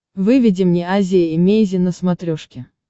выведи мне азия эмейзин на смотрешке